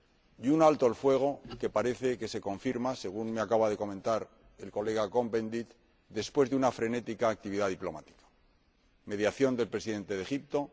y un alto el fuego que parece que se confirma, según me acaba de comentar el señor Cohn Bendit, después de una frenética actividad diplomática mediación del Presidente de Egipto